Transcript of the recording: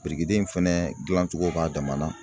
Birikiden in fɛnɛ dilancogo b'a dama na.